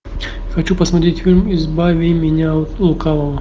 хочу посмотреть фильм избави меня от лукавого